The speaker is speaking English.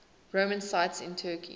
roman sites in turkey